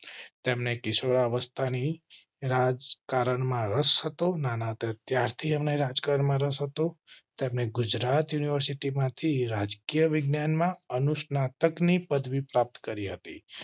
તેમને કિશોરાવસ્થા ની રાજકારણ માં રસ્તો ના ત્યાર થી અમ ને રાજકારણમાં રસ હતો. તેમણે ગુજરાત યુનિવર્સિટી માંથી રાજકીય વિજ્ઞાન માં અનુસ્નાતકની પદવી પ્રાપ્ત કરી હતી.